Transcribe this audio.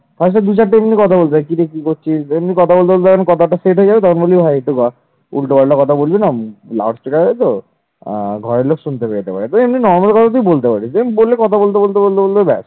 অ্যাঁ ঘরের লোক শুনতে পেতে পারে যেমন normal কথা তুই বলতে পারতিস then কথা বলতে বলতে বলতে বলতে বলতে ব্যাস।